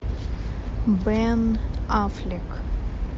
бен аффлек